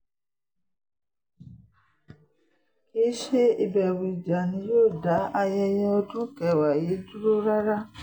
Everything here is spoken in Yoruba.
kì í ṣe ìbẹ̀rù ìjà ni yóò dá ayẹyẹ ọdún kẹwàá yìí dúró rárá